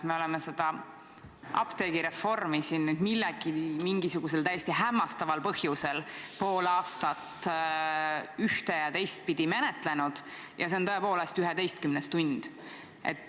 Me oleme seda apteegireformi mingisugusel täiesti hämmastaval põhjusel pool aastat ühte- ja teistpidi menetlenud ja käes on tõepoolest 11. tund.